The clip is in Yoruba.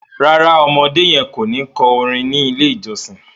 ràrá ọmọdé yen kọ ní kò orin ní ilè ìjósìn.